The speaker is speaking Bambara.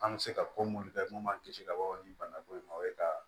An bɛ se ka ko mun kɛ mun b'an kisi ka bɔ o ni banako in ma o ye ka